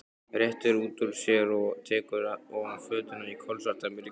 Réttir úr sér og tekur ofan fötuna í kolsvartamyrkri.